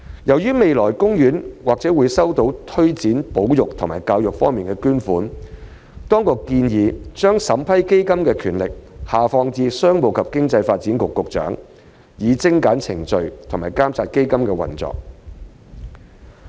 由於海洋公園未來或會收到推展保育和教育方面的捐款，當局建議將審批基金的權力下放至商務及經濟發展局局長，以精簡程序和監察基金的運用。